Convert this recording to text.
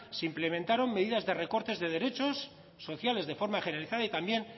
se implementaron medidas de recortes de derechos sociales de forma generalizada y también